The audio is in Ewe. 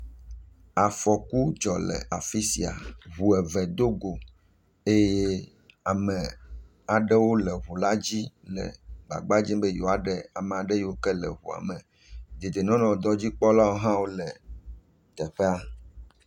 Afɔku dzɔ le afi sia. Ŋu eve dogo eye ame aɖewo le ŋula dzi le gbagba dzem be yewoa ɖe ama ɖe yiwo ke le ŋua me. Dedienɔnɔnyadzikpɔlawo hã le teƒea.